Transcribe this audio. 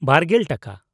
᱒᱐/ᱼ ᱴᱟᱠᱟ ᱾